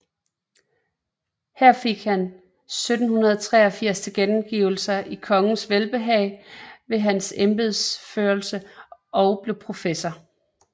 Her fik han 1783 tilkendegivelse af kongens velbehag med hans embedsførelse og blev professor